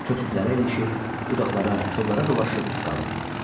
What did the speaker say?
Kötüklərə ilişir, budaqlara, kollara dolaşıb qalırdı.